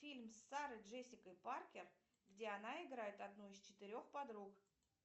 фильм с сарой джессикой паркер где она играет одну из четырех подруг